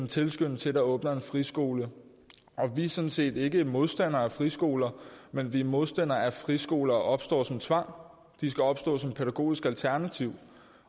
tilskynde til at der åbner en friskole vi er sådan set ikke modstandere af friskoler men vi er modstandere af at friskoler opstår som tvang de skal opstå som pædagogisk alternativ